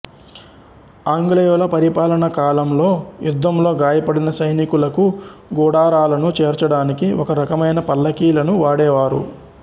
ఆంగ్లేయుల పరిపాలనా కాలంలో యుద్ధంలో గాయపడిన సైనికులను గుడారాలను చేర్చడానికి ఒక రకమైన పల్లకీ లను వాడేవారు